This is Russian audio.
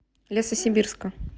лесосибирска